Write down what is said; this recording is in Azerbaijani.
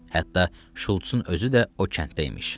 Hətta Şultsın özü də o kənddə imiş.